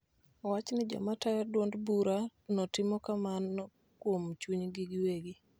Owacho ni jogo ma tayo duond bura no timo kamano kuom chunygi giwegi .